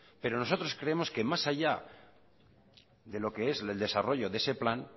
pero nosotros creemos que más allá de lo que es el desarrollo de ese plan